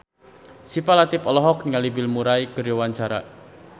Syifa Latief olohok ningali Bill Murray keur diwawancara